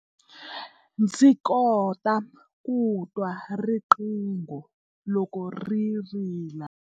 Ndzi kota ku twa riqingho loko ri rila.